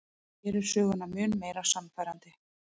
Gerir söguna mun meira sannfærandi.